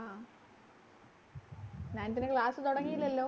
Nineth ലെ class തുടങ്ങിയില്ലലോ